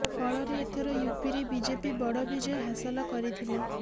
ଫଳରେ ଏଥର ୟୁପିରେ ବିଜେପି ବଡ଼ ବିଜୟ ହାସଲ କରିଥିଲା